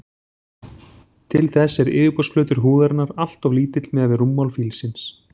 Til þess er yfirborðsflötur húðarinnar alltof lítill miðað við rúmmál fílsins.